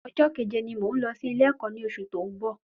Ọjọ́ kẹ̀jẹ ni mò ún lọ sí ilé ẹ̀kọ́ ní ọsù tí òún bọ̀